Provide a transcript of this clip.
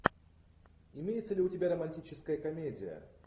имеется ли у тебя романтическая комедия